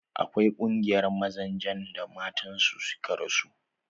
Akwai ƙungiyar mazajen da matan su suka rasu.